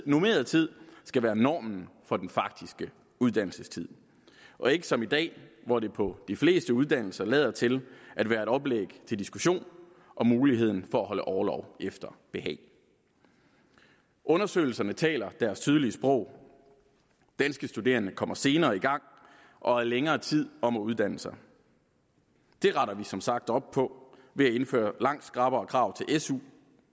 normeret tid skal være normen for den faktiske uddannelsestid og ikke som i dag hvor det på de fleste uddannelser lader til at være et oplæg til diskussion om muligheden for at holde orlov efter behag undersøgelserne taler deres tydelige sprog danske studerende kommer senere i gang og er længere tid om at uddanne sig det retter vi som sagt op på ved at indføre langt skrappere krav til su